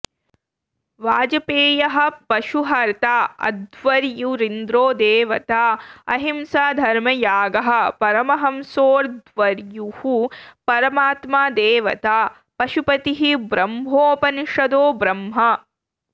वाजपेयः पशुहर्ता अध्वर्युरिन्द्रो देवता अहिंसा धर्मयागः परमहंसोऽध्वर्युः परमात्मा देवता पशुपतिः ब्रह्मोपनिषदो ब्रह्म